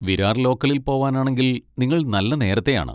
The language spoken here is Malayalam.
വിരാർ ലോക്കലിൽ പോവാനാണെങ്കിൽ നിങ്ങൾ നല്ല നേരത്തെയാണ്.